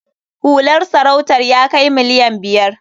Hular sarautar ya kai miliyan biyar.